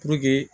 Puruke